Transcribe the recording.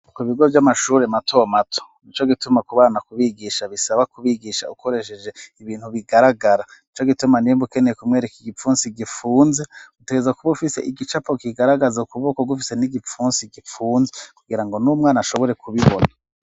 Ku bigo vy'amashure matomato nico gituma ku bana kubigisha bisaba kubigisha ukoresheje ibintu bigaragara nico gituma nimba ukeneye kumwereka igipfunsi gipfunze utegerezwa kuba ufise igicapo kigaragaza ukuboko gufise n'igipfunsi gipfunze kugira ngo n'umwana ashobore kubibona.